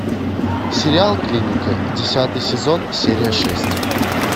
сериал клиника десятый сезон серия шесть